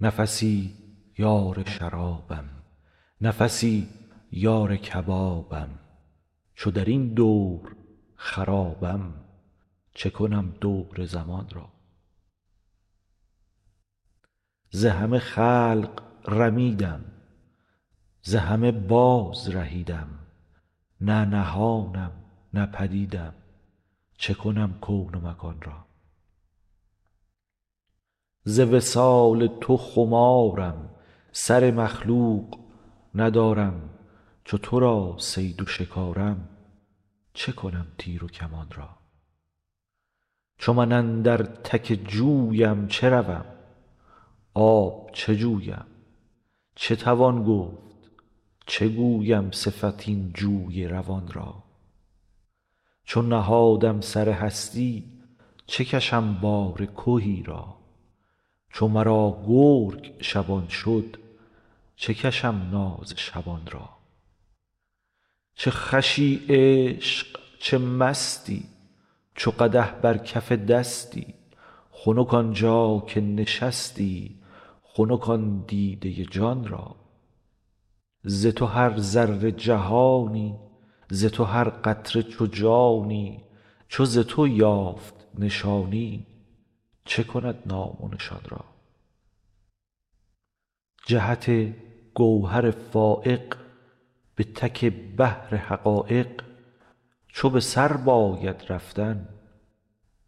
نفسی یار شرابم نفسی یار کبابم چو در این دور خرابم چه کنم دور زمان را ز همه خلق رمیدم ز همه بازرهیدم نه نهانم نه پدیدم چه کنم کون و مکان را ز وصال تو خمارم سر مخلوق ندارم چو تو را صید و شکارم چه کنم تیر و کمان را چو من اندر تک جویم چه روم آب چه جویم چه توان گفت چه گویم صفت این جوی روان را چو نهادم سر هستی چه کشم بار کهی را چو مرا گرگ شبان شد چه کشم ناز شبان را چه خوشی عشق چه مستی چو قدح بر کف دستی خنک آن جا که نشستی خنک آن دیده جان را ز تو هر ذره جهانی ز تو هر قطره چو جانی چو ز تو یافت نشانی چه کند نام و نشان را جهت گوهر فایق به تک بحر حقایق چو به سر باید رفتن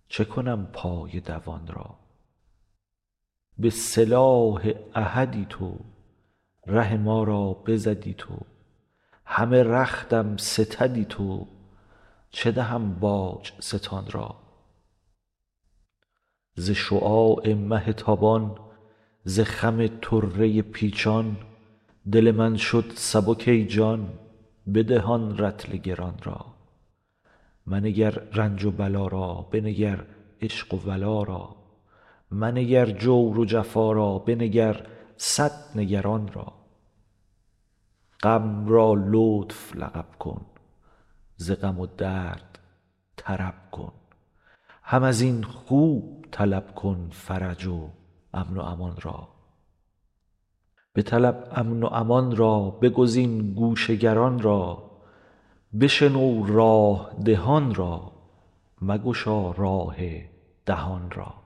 چه کنم پای دوان را به سلاح احدی تو ره ما را بزدی تو همه رختم ستدی تو چه دهم باج ستان را ز شعاع مه تابان ز خم طره پیچان دل من شد سبک ای جان بده آن رطل گران را منگر رنج و بلا را بنگر عشق و ولا را منگر جور و جفا را بنگر صد نگران را غم را لطف لقب کن ز غم و درد طرب کن هم از این خوب طلب کن فرج و امن و امان را بطلب امن و امان را بگزین گوش گران را بشنو راه دهان را مگشا راه دهان را